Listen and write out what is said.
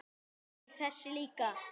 Æ, þessi líka